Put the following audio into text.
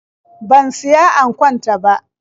Ban siya ankon ta ba.